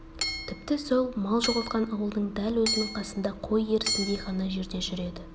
тіпті сол мал жоғалтқан ауылдың дәл өзінің қасында қой ерісіндей ғана жерде жүреді